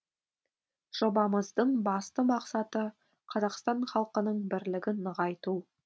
жобамыздың басты мақсаты қазақстан халқының бірлігін нығайту